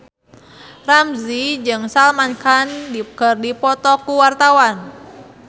Ramzy jeung Salman Khan keur dipoto ku wartawan